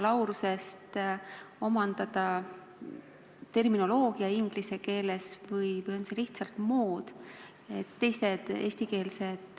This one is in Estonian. Kas on see soov omandada juba bakalaureuseõppes terminoloogia inglise keeles või on see lihtsalt mood?